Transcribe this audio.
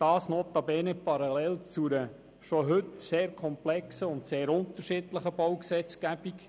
das geschieht notabene parallel zu einer bereits heute sehr komplexen und sehr unterschiedlichen Baugesetzgebung.